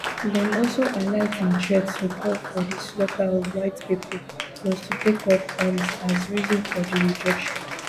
dem also highlight im threat to call for di slaughter of white pipo plus to take up arms as reason for di rejection